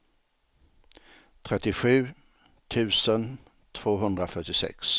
trettiosju tusen tvåhundrafyrtiosex